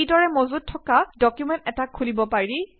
কিদৰে মজুত থকা ডকুমেন্ট এটা খুলিব পাৰি